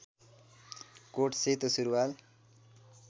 coat सेतो सुरूवाल